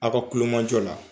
Aw ka kulomajɔ la.